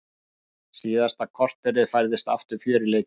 Síðasta korterið færðist aftur fjör í leikinn.